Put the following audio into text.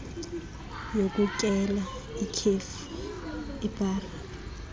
yokutyela ikhefi ibhari